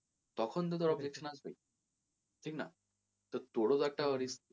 তখন তো তোর objection আসবেই ঠিক না? তো তোর ও তো একটা,